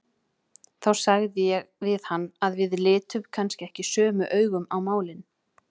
Þá sagði ég við hann að við litum kannski ekki sömu augum á málin.